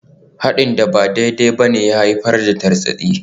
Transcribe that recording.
Haɗin da ba daidai ba ne ya haifar da tartsatsi.